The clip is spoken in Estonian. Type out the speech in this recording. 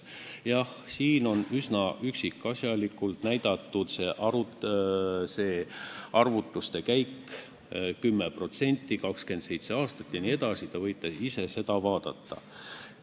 Jah, siin on üksikasjalikult näidatud arvutuste käik: 10%, 24 aastat jne, te võite ise seda vaadata.